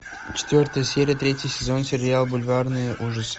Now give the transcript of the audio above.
четвертая серия третий сезон сериал бульварные ужасы